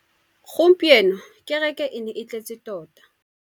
Gompieno kêrêkê e ne e tletse tota.